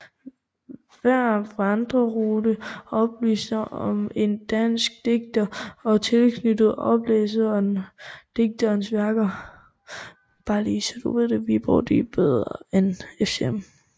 Hver vandrerute oplyser om en dansk digter og er tilknyttet oplæsninger af digterens værker